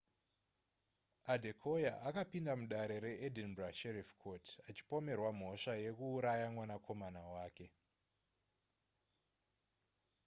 adekoya akapinda mudare reedinburgh sheriff court achipomerwa mhosva yekuuraya mwanakomana wake